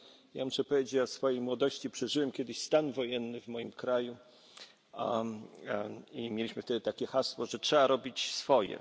Ja muszę powiedzieć o swojej młodości przeżyłem kiedyś stan wojenny w moim kraju i mieliśmy wtedy takie hasło, że trzeba robić swoje.